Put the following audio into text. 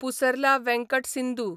Pusarla Venkata Sindhu